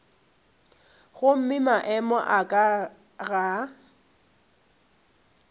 gomme maemo a ka ga